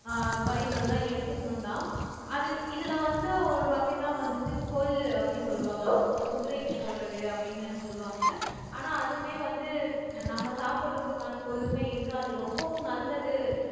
ஆஹ் பயிர்கள் எல்லாம் எடுத்துக்கணும்தான் அது இதுல வந்து ஒரு வகைதான் வந்துட்டு கொள்ளு அப்படி சொல்லுவாங்க இந்த குதிரைக்கு போடுறது அப்படின்னு சொல்லுவாங்க ஆனா அதுவுமே வந்து நம்ம சாப்பிடறதுக்கான கொள்ளுமே இருக்கு அது ரொம்பவும் நல்லது